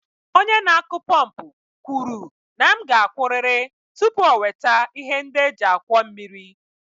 Onye na-akụ pọmpụ kwuru na m ga-akwụrịrị tupu o weta ihe ndị e ji akwọ mmiri.